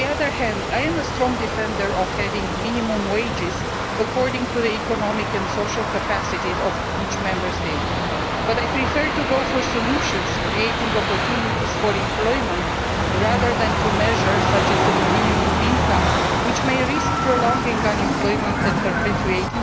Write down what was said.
On the other hand, I am a strong defender of having minimum wages, according to the economic and social capacities of each Member State, although I prefer solutions that create opportunities for employment, rather than measures such as the minimum wage which may risk prolonging unemployment and perpetuate